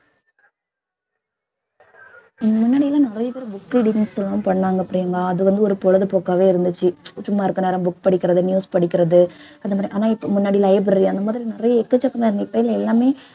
முன்னாடிலாம் நிறைய பேர் book readings பண்ணாங்க பிரியங்கா அது வந்து ஒரு பொழுதுபோக்காவே இருந்துச்சு சும்மா இருக்க நேரம் book படிக்கிறது news படிக்கிறது அந்த மாதிரி ஆனா இப்ப முன்னாடி library அந்த மாதிரி நிறைய எக்கச்சக்கமான பேர் எல்லாமே